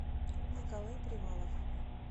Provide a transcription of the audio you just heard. николай привалов